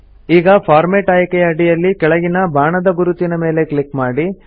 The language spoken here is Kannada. ಈಗ ಫಾರ್ಮೆಟ್ ಆಯ್ಕೆಯ ಅಡಿಯಲ್ಲಿ ಕೆಳಗಿನ ಬಾಣದ ಗುರುತಿನ ಮೇಲೆ ಕ್ಲಿಕ್ ಮಾಡಿ